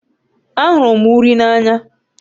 Ahụrụ m uri n'anya